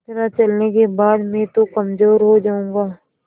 इतना चलने के बाद मैं तो कमज़ोर हो जाऊँगा